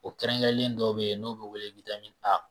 O kɛrɛnkɛrɛnlen dɔw be yen n'o be wele A